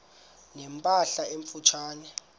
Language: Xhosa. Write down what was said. ne mpahla emfutshane